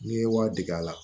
N'i ye wari dege a la